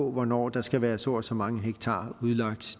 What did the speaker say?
hvornår der skal være så og så mange hektar udlagt